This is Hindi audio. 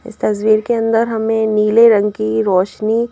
इस तस्वीर के अंदर हमें नीले रंग की रोशनी--